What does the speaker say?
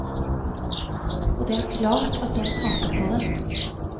Og det er klart at den taper på det.